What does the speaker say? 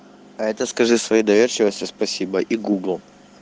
а это скажи своей доверчивости спасибо и гуглу